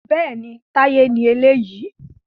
Bẹ́ẹ̀ni, Táyé ni eléyìí